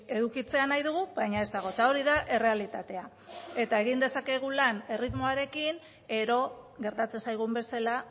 edukitzea nahi dugu baina ez dago eta hori da errealitatea eta egin dezakegun lan erritmoarekin gero gertatzen zaigun bezala